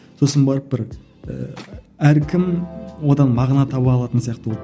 сосын барып бір ііі әркім одан мағына таба алатын сияқты болды